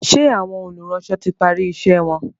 ṣe Àwọn olùránsọ tí pari iṣé wón?